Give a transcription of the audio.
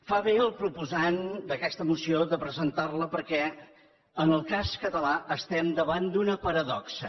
fa bé el proposant d’aquesta moció de presentar la perquè en el cas català estem davant d’una paradoxa